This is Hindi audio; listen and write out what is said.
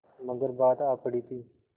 मगर बात आ पड़ी थी